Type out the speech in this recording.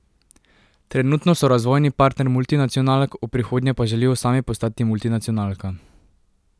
Trenutno so razvojni partner multinacionalk, v prihodnje pa želijo sami postati multinacionalka.